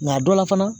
Nka dɔ la fana